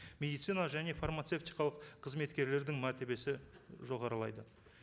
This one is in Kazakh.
медицина және фармацевтикалық қызметкерлердің мәртебесі жоғарылайды